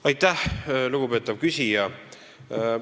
Aitäh, lugupeetav küsija!